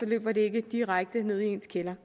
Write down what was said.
løber det ikke direkte ned i ens kælder